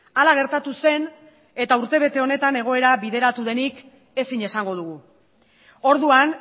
hala gertatu zen eta urtebete honetan egoera bideratu denik ezin esango dugu orduan